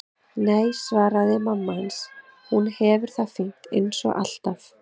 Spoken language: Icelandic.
Nei, svaraði mamma hans, hún hefur það fínt eins og alltaf.